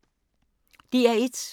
DR1